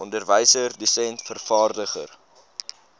onderwyser dosent vervaardiger